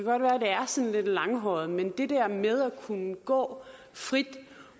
sådan lidt langhåret men det der med at kunne gå frit